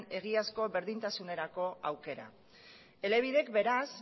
egiazko berdintasunerako aukera elebidek beraz